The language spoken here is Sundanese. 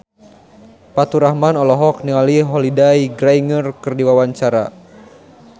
Faturrahman olohok ningali Holliday Grainger keur diwawancara